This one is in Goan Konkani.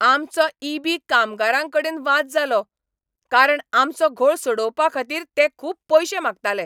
आमचो ई. बी. कामगारांकडेन वाद जालो, कारण आमचो घोळ सोडोवपाखातीर ते खूब पयशे मागताले.